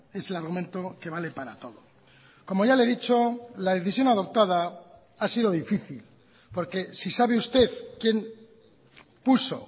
es el argumento que vale para todo como ya le he dicho la decisión adoptada ha sido difícil porque si sabe usted quién puso